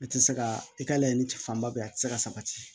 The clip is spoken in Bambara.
A tɛ se ka i ka laɲini cɛ fanba bɛ yen a tɛ se ka sabati